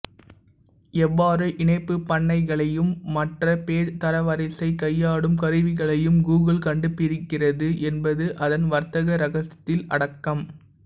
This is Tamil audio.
எவ்வாறு இணைப்புப் பண்ணைகளையும் மற்ற பேஜ் தரவரிசையை கையாடும் கருவிகளையும் கூகுள் கண்டுபிடிக்கிறது என்பது அதன் வர்த்தக இரகசியத்தில் அடக்கம்